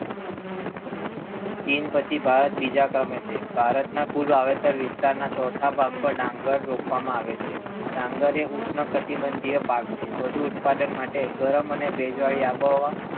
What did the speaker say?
ચીન પછી ભારત બીજા ક્રમે છે. ભારત ના કુલ વાવેતર વિસ્તાર ના ચોથા ભાગ માં ડાંગર રોપવામાં આવે છે, ડાંગર એ ઉષ્ણ કટિબંધીય પાક છે. વધુ ઉત્પાદન માટે ગરમ અને ભેજવાળી આબોહવા,